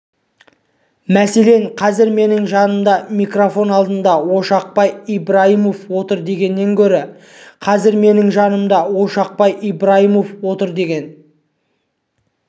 мәселен қазір менің жанымда микрофон алдында ошақбай ибраимов отыр дегеннен гөрі қазір менің жанымда ошақбай ибраимов отыр деген